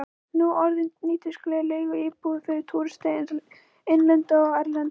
Nú orðinn nýtískuleg leiguíbúð fyrir túrista, innlenda sem erlenda.